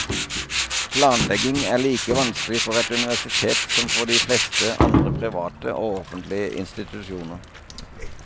Planlegging er like vanskelig for et universitet som for de fleste andre private og offentlige institusjoner.